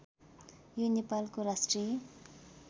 यो नेपालको राष्ट्रिय